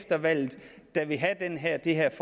have det er der